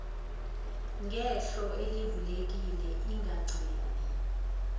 ngehlo elivulekile ingagcini